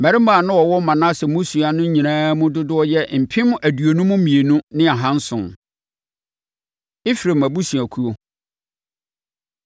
Mmarima a na wɔwɔ Manase mmusua no nyinaa mu dodoɔ yɛ mpem aduonum mmienu ne ahanson (52,700). Efraim Abusuakuo